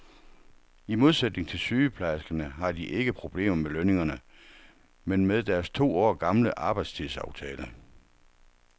I modsætning til sygeplejerskerne har de ikke problemer med lønningerne, men med deres to år gamle arbejdstidsaftale.